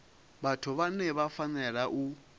vhathu vhane vha fanela u